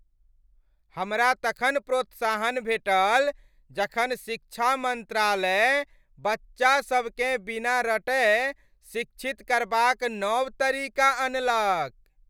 हमरा तखन प्रोत्साहन भेटल जखन शिक्षा मंत्रालय बच्चासभकेँ बिना रटय शिक्षित करबाक नव तरीका अनलक।